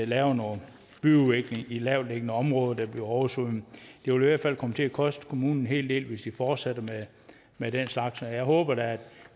laver noget byudvikling i lavtliggende områder der bliver oversvømmet det vil i hvert fald komme til at koste kommunen en hel del hvis de fortsætter med den slags jeg håber da at